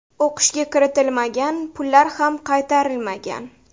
o‘qishga kiritilmagan, pullar ham qaytarilmagan.